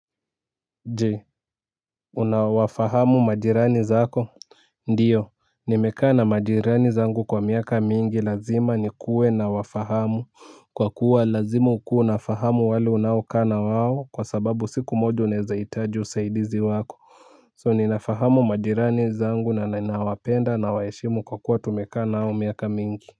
Je unawafahamu majirani zako? Ndiyo nimekaa na majirani zangu kwa miaka mingi lazima nikue nawafahamu kwa kuwa lazima ukuwe unafahamu wale unaokaa na wao kwa sababu siku moja unaezahitaji usaidizi wako so ninafahamu majirani zangu na ninawapenda nawaheshimu kwa kuwa tumekaa nao miaka mingi.